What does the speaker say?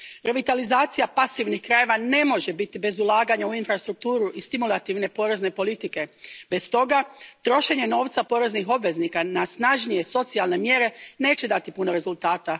Revitalizacija pasivnih krajeva ne može biti bez ulaganja u infrastrukturu i stimulativne porezne politike te, stoga, trošenje novca poreznih obveznika na snažnije socijalne mjere neće dati puno rezultata.